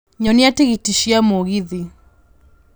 nyonia tigiti cia mũgithi